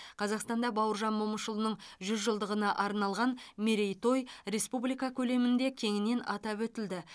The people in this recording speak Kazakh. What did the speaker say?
қазақстанда бауыржан момышұлының жүз жылдығына арналған мерейтой республика көлемінде кеңінен атап өтілді